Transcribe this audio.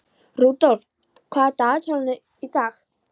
Rudolf, hvað er í dagatalinu í dag?